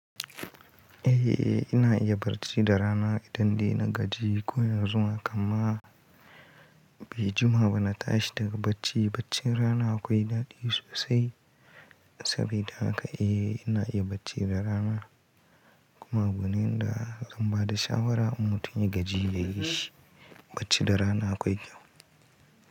Eh, ina iya bacci da rana idan dai na gaji ko in yanzu ma kamma bai jima ba na tashi daga bacci. Baccin rana akwai daɗi sosai saboda haka eh ina iya bacci da rana. Kuma abu ne da zan ba da shawara, mutum ya gaji ya yi bacci da rana akwai kyau.